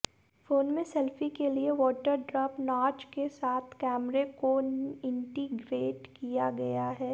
phone में selfie के लिए वाटरड्रॉप नॉच के साथ कैमरे को इंटीग्रेट किया गया है